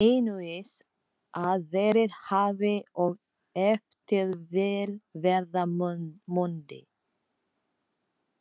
Einungis að verið hafi og ef til vill verða mundi.